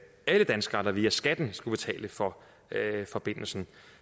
alle danskere der via skatten skulle betale for forbindelsen